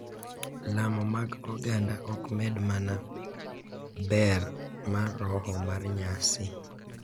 Lamo mag oganda ok med mana ber mar roho mar nyasi .